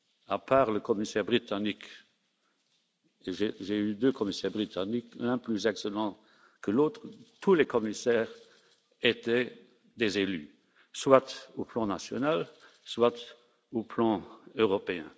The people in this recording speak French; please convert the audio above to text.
À part le commissaire britannique j'ai eu deux commissaires britanniques, l'un plus excellent que l'autre tous les commissaires étaient des élus, soit au plan national, soit au plan européen.